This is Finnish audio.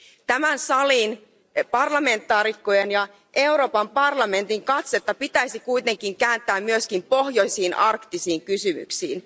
Tämän salin parlamentaarikkojen ja Euroopan parlamentin katsetta pitäisi kuitenkin kääntää myöskin pohjoisiin arktisiin kysymyksiin.